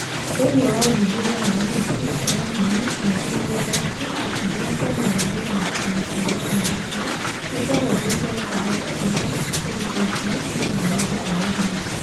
Thĩinĩ wa ũthuthuria wa Ũhoti, kwaga hinya, mĩeke, na ũgwati, gĩkundi kĩa Kĩama gĩa Gũthondeka Mĩbango ya Arutwo nĩ kĩahũthĩrire ũhoro ũrĩa ũrutĩtwo nĩ athuthuria a ũhoro